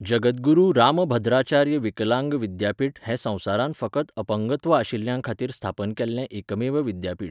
जगद्गुरू रामभद्राचार्य विकलांग विद्यापीठ हें संवसारांत फकत अपंगत्व आशिल्ल्यां खातीर स्थापन जाल्लें एकमेव विद्यापीठ.